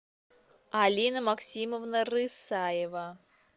алина максимовна рысаева